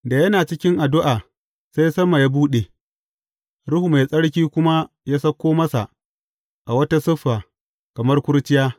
Da yana cikin addu’a, sai sama ya buɗe, Ruhu Mai Tsarki kuma ya sauko masa a wata siffa, kamar kurciya.